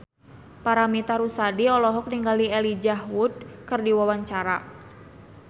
Paramitha Rusady olohok ningali Elijah Wood keur diwawancara